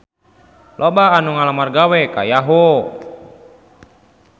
Loba anu ngalamar gawe ka Yahoo!